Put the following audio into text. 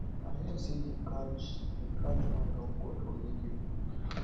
i hear say dey catch dey catch one yahoo boy for radio